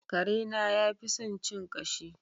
Karena yafi son cin ƙashi.